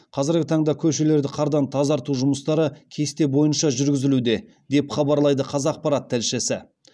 қазіргі таңда көшелерді қардан тазарту жұмыстары кесте бойынша жүргізілуде деп хабарлайды қазақпарат тілшісі